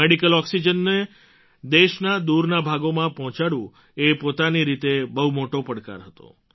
medical ઑક્સિજનને દેશના દૂરના ભાગોમાં પહોંચાડવું એ પોતાની રીતે બહુ મોટો પડકાર હતો